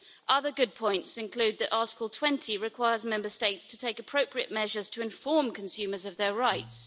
Other good points include that Article 20 requires Member States to take appropriate measures to inform consumers of their rights.